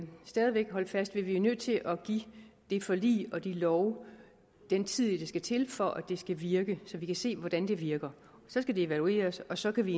stadig væk holde fast ved at vi er nødt til at give det forlig og de love den tid der skal til for at de skal virke så vi kan se hvordan de virker så skal de evalueres og så kan vi